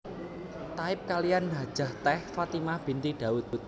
Taib kaliyan Hajah Teh Fatimah binti Daud